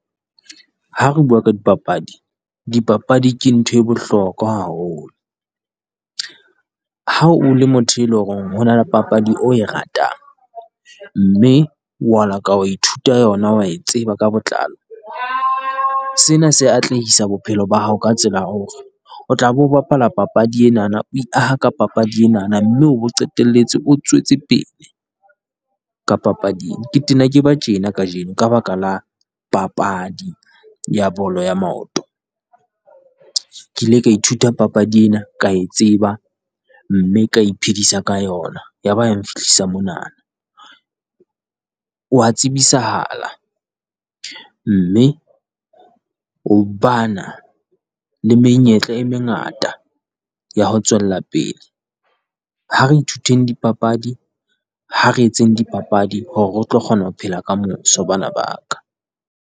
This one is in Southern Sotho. Ha re bua ka dipapadi dipapadi ke nthwe bohlokwa haholo, ha o le motho e leng hore ho na le papadi o e ratang, mme wa la ka wa ithuta yona wa e tseba ka botlalo. Sena se atlehisa bophelo ba hao ka tsela hore, o tla bo bapala papadi enana o e aha ka papadi enana, mme o bo qetelletse o tswetse pele ka papadi e. Ke tena ke ba tjena kajeno ka baka la papadi ya bolo ya maoto, ke ile ka ithuta papadi ena, ka e tseba mme ka iphedisa ka yona. Ya ba ya nfihlisa monana, wa tsebisahala mme ho bana le menyetla e mengata ya ho tswella pele. Ha re ithuteng dipapadi, ha re etseng di papadi hore re tlo kgona ho phela kamoso bana ba ka.